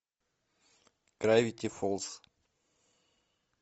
гравити фолз